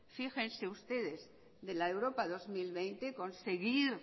fíjense ustedes de la europa dos mil veinte conseguir